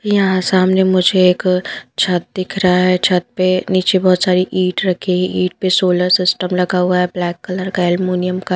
यहाँ सामने मुझे एक छत दिख रहा है छत पे नीचे बहुत सारी ईंट रखी है ईंट पे सोलर सिस्टम लगा हुआ है ब्लैक कलर का एल्मुनियम का --